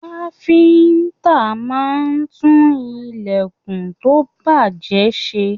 Káfíntà máa n tún ilẹkùn to bajẹ ṣe.